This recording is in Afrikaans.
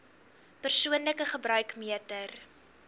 persoonlike gebruik meter